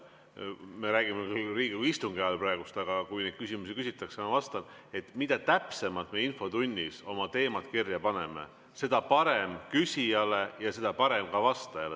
Me räägime küll Riigikogu istungi ajal praegu, aga kui neid küsimusi küsitakse, siis ma vastan: mida täpsemalt me infotunnis oma teemad kirja paneme, seda parem küsijale ja seda parem ka vastajale.